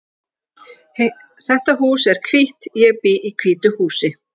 Heiða segir góðan daginn!